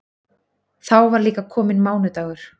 Þá var líka kominn mánudagur.